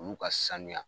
Olu ka sanuya